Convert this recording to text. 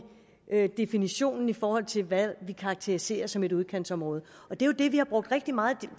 definitionen i forhold til hvad vi karakteriserer som et udkantsområde det vi har brugt rigtig meget